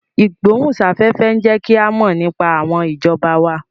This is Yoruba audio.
Ìgbóhùn sáfẹ́fẹ́ ń jẹ́ kí a mọ̀ nípa àwọn ìjọba wa